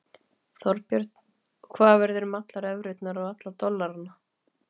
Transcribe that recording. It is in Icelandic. Þorbjörn: Og hvað verður um allar evrurnar og alla dollarana?